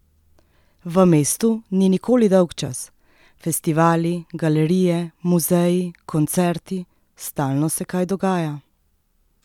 V mestu ni nikoli dolgčas: "Festivali, galerije, muzeji, koncerti, stalno se kaj dogaja.